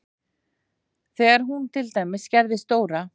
Þegar hún til dæmis gerði stóra